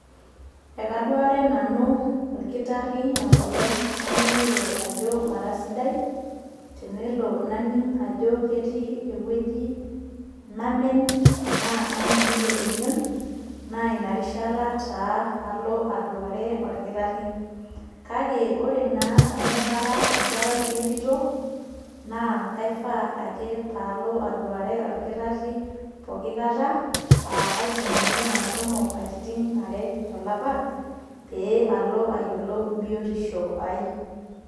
Ekaduare nanu orkitarri enkolong' naning'ito ajo mara sidai, tenelo naning' ajo ketii ewueji namen enaa naning'ito emion, na inarishata taa alo aduare orkitarri. Kake ore naa amu kara enkerai entito, naa kaifaa ake palo aduare orkitarri pooki kata, ah kaidim ninye ashomo katitin are tolapa, pe alo ayiolou biotisho ai.